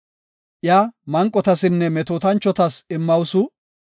Iya manqotasinne metootanchotas immawusu.